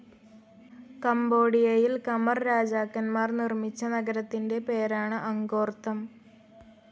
കംബോഡിയയിൽ Khmer രാജാക്കന്മാർ നിർമിച്ച നഗരത്തിൻ്റെ പേരാണ് അങ്കോർത്ഥം.